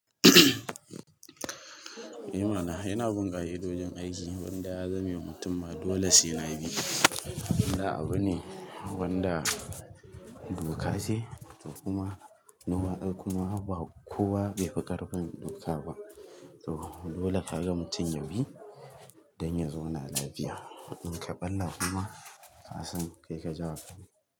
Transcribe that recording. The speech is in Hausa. Ni mana, ina bin ƙa'idodin aiki wanda ya zame ma mutum ma dole sai nayi. Wanda abu ne wanda duka ce kuma normal ai kuma ba kowa be fi karfin doka ba. To dole ka ga mutum yabi, dan ya zauna lafiya. In kaɓalla kuma ka san kai ka jawa kanka.